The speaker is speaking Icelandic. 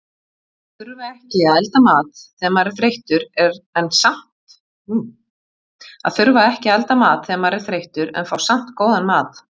Að þurfa ekki að elda mat þegar maður er þreyttur en fá samt góðan mat.